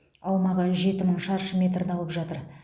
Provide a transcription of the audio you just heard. аумағы жеті мың шаршы метрді алып жатыр